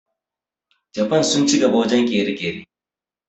Jafan sun ci gaba wajen ƙere-ƙere